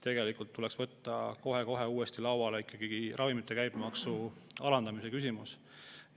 Tegelikult tuleks võtta kohe uuesti lauale ravimite käibemaksu alandamise küsimus.